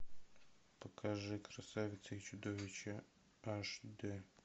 покажи красавица и чудовище аш дэ